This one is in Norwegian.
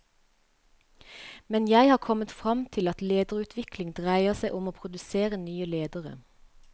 Men jeg har kommet fram til at lederutvikling dreier seg om å produsere nye ledere.